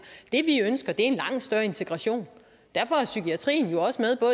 det vi ønsker er en langt større integration derfor er psykiatrien jo også med